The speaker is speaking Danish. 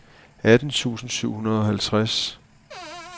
atten tusind syv hundrede og halvtreds